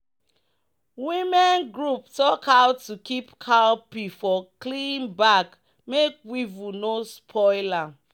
"women group talk how to keep cowpea for clean bag make weevil no spoil am."